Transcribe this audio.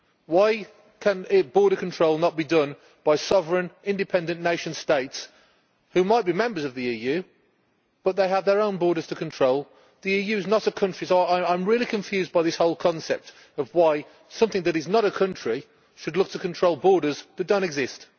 Why can border control not be done by sovereign, independent nation states, who might be members of the EU but have their own borders to control. The EU is not a country, so I am really confused by the whole concept of why something that is not a country should look to control borders that do not exist.